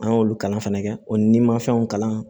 An y'olu kalan fɛnɛ kɛ o ni ma fɛnw kalan